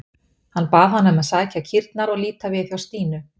Hann bað hana um að sækja kýrnar og líta við hjá Stínu.